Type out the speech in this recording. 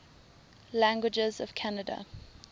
languages of canada